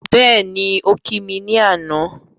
Bẹ́ẹ̀ni, ó kí mi ní àná